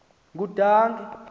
ngudange